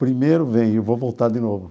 Primeiro vem, eu vou voltar de novo.